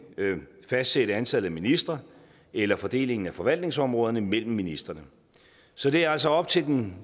fastsætte antallet af ministre eller fordelingen af forvaltningsområderne mellem ministrene så det er altså op til den